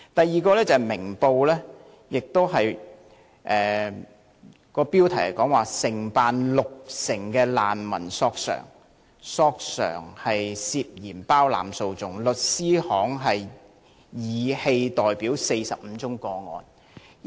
此外，《明報》亦曾有一篇報道，標題是"承辦六成難民索償被疑涉包攬訴訟律師行申棄代表45個案獲批"。